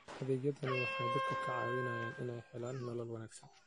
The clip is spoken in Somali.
Adeegyadani waxay dadka ka caawiyaan inay helaan nolol wanaagsan.